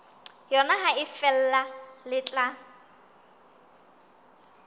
yona ha feela le tla